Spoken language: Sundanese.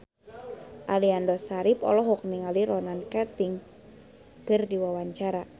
Aliando Syarif olohok ningali Ronan Keating keur diwawancara